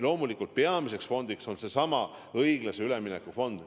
Loomulikult peamine fond on seesama õiglase ülemineku fond.